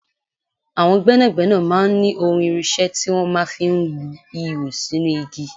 Àwọn gbẹ́nàgbẹ́nà máa ń ní ohun irinṣẹ́ tí wọ́n máa ń fi lu ihò sínú igi.